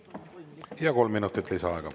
Ja kolm minutit lisaaega.